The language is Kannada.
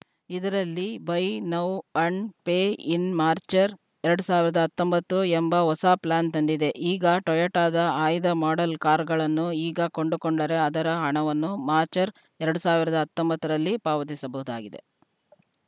ಇದರಲ್ಲಿ buy now and pay in ಮಾಚ್‌ರ್ ಎರಡು ಸಾವಿರದ ಹತ್ತೊಂಬತ್ತು ಎಂಬ ಹೊಸ ಪ್ಲಾನ್‌ ತಂದಿದೆ ಈಗ ಟೊಯೊಟಾದ ಆಯ್ದ ಮಾಡೆಲ್‌ ಕಾರ್‌ಗಳನ್ನು ಈಗ ಕೊಂಡುಕೊಂಡರೆ ಅದರ ಹಣವನ್ನು ಮಾಚ್‌ರ್‍ ಎರಡು ಸಾವಿರದ ತ್ತೊಂಬತ್ತು ರಲ್ಲಿ ಪಾವತಿಸಬಹುದಾಗಿದೆ